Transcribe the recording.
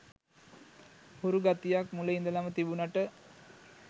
හුරු ගතියක් මුල ඉඳලම තිබුණට